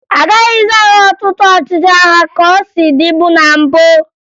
A gaghịzị ahụ ọtụtụ ọchịchị agha ka o si dịbu na mbụ